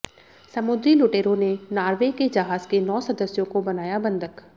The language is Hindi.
समुद्री लुटेरों ने नार्वे के जहाज के नौ सदस्यों को बनाया बंधक